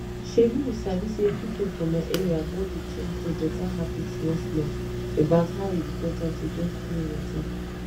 shebi you sabi say pipo for my area don dey change to better habit small small about how e important to get clean water